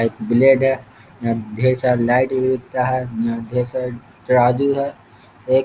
एक ब्लेड है अ ढेर सारा लाइट भी बिकता है अं ढेर सारा तराजू है एक --